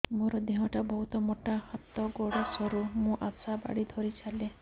ମୋର ଦେହ ଟା ବହୁତ ମୋଟା ହାତ ଗୋଡ଼ ସରୁ ମୁ ଆଶା ବାଡ଼ି ଧରି ଚାଲେ